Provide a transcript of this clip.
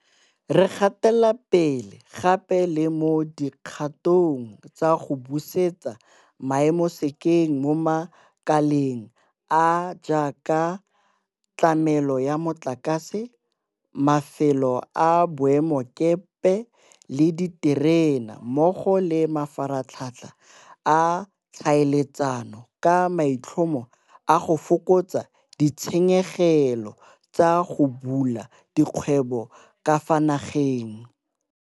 Re gatela pele gape le mo di kgatong tsa go busetsa maemo sekeng mo makaleng a a jaaka a tlamelo ya motlakase, mafelo a boemakepe le a diterene mmogo le a mafaratlhatlha a ditlhaeletsano ka maitlhomo a go fokotsa ditshenyegelo tsa go bula dikgwebo ka fa nageng.